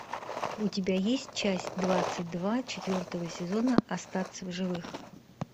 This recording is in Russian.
у тебя есть часть двадцать два четвертого сезона остаться в живых